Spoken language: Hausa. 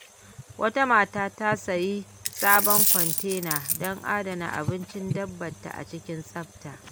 Wata mata ta sayi sabon kwantena don adana abincin dabbar ta cikin tsafta.